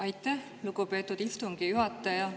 Aitäh, lugupeetud istungi juhataja!